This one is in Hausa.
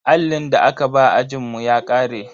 Allin da aka ba ajinmu ya ƙare.